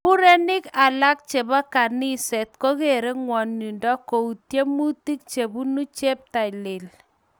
Murenik alam chebo kaniset kogeere ngwonindo ku tyemutik chebunu cheptailel